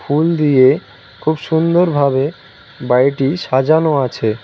ফুল দিয়ে খুব সুন্দর ভাবে বাড়িটি সাজানো আছে।